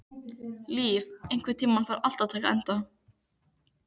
Líf, einhvern tímann þarf allt að taka enda.